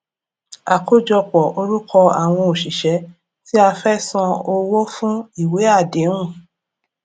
àkójọpọ orúkọ àwọn òṣìṣẹ tí a fẹ san owó fún ìwé àdéhùn